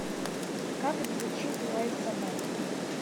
как звучит лай собаки